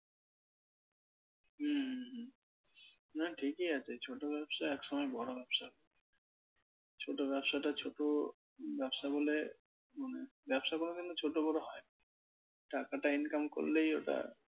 হম না ঠিকই আছে ছোট ব্যবসা একসময় বড় ব্যবসায়, ছোট ব্যবসাটা ছোট ব্যবসা বলে মানে ব্যবসা কোনোদিনও ছোট বড় হয় না। টাকাটা income করলেই ওটা